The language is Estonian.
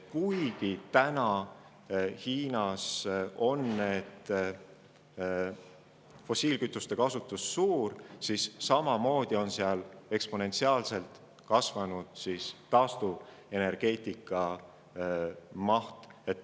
Kuigi täna on Hiinas fossiilkütuste kasutus suur, on seal oluliselt kasvanud taastuvenergeetika maht.